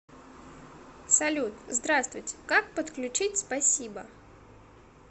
салют здравствуйте как подключить спасибо